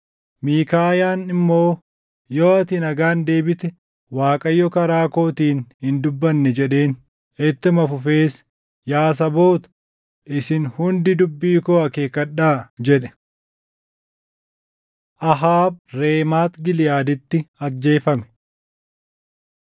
Miikaayaan immoo, “Yoo ati nagaan deebite, Waaqayyo karaa kootiin hin dubbanne” jedheen. Ittuma fufees, “Yaa saboota, isin hundi dubbii koo akeekkadhaa!” jedhe. Ahaab Reemaat Giliʼaaditti Ajjeefame 22:29‑36 kwf – 2Sn 18:28‑34